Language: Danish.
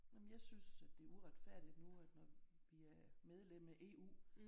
Nej men jeg synes at det er uretfærdigt nu at når vi er medlem af EU